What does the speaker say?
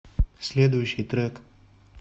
следующий трек